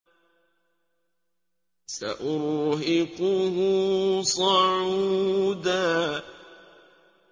سَأُرْهِقُهُ صَعُودًا